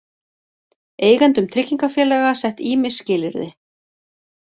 Eigendum tryggingafélaga sett ýmis skilyrði